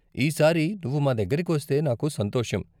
ఈసారి నువ్వు మా దగ్గరకి వస్తే నాకు సంతోషం.